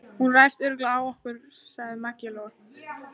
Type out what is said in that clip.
Hún ræðst örugglega á okkur, sagði Maggi Lóu.